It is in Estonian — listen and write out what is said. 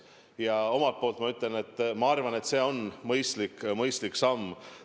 Ja omalt poolt ma ütlen, et minu arvates see on mõistlik samm.